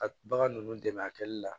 A bagan ninnu dɛmɛ a kɛli la